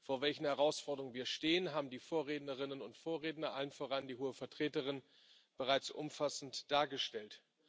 Vor welchen Herausforderungen wir stehen, haben die Vorrednerinnen und Vorredner, allen voran die Hohe Vertreterin, bereits umfassend dargestellt.